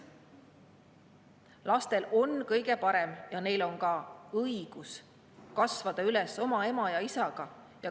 Lastel on kõige parem ja neil on ka õigus kasvada üles oma ema ja isaga.